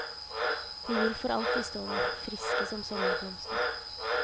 De vil for alltid stå der, friske som sommerblomster.